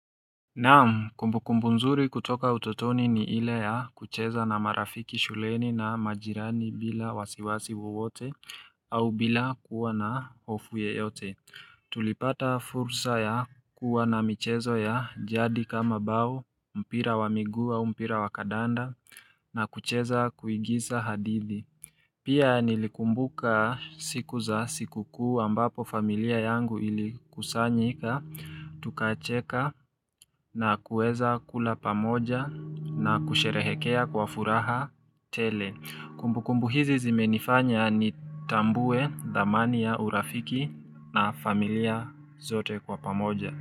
Naam kumbukumbu nzuri kutoka utotoni ni ile ya kucheza na marafiki shuleni na majirani bila wasiwasi wowote au bila kuwa na hofu yeyote. Tulipata fursa ya kuwa na michezo ya jadi kama bao, mpira wa miguu, mpira wa kadanda na kucheza kuigiza hadithi. Pia nilikumbuka siku za siku kuu ambapo familia yangu ili kusanyika, tukacheka na kuweza kula pamoja na kusherehekea kwa furaha tele. Kumbukumbu hizi zimenifanya ni tambue, dhamani ya, urafiki na familia zote kwa pamoja.